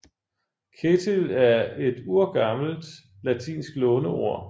Ketill er et urgammelt latinsk låneord